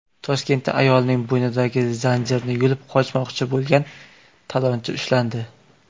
Toshkentda ayolning bo‘ynidagi zanjirni yulib qochmoqchi bo‘lgan talonchi ushlandi.